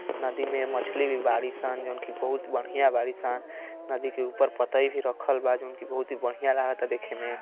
नदी में मछली भी बाड़ीसन। जोवन की बहुत बढ़िया बाड़ीसन। नदी के ऊपर पटई भी रक्खल बा। जोवन की बहुत बढ़िया लागता देखे में।